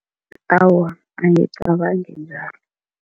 Awa, angicabangi njalo.